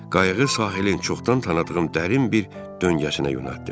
Qayığı sahilin çoxdan tanıdığım dərin bir döngəsinə yönəltdim.